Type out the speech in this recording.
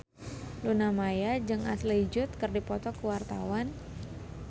Luna Maya jeung Ashley Judd keur dipoto ku wartawan